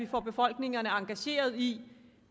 får befolkningerne engageret i